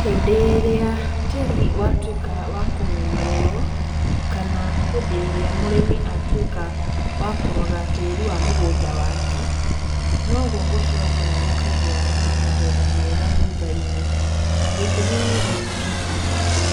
Hĩndĩ ĩrĩa tĩri watwĩka wakũmenyererwo, kana hĩndĩ ĩrĩa mũrimi atwĩka wa kũrora tĩri wa mũgũnda wake, noguo gũcokaga gũkagĩa na magetha mega thutha-inĩ, gĩtũmi nĩ gĩkĩ,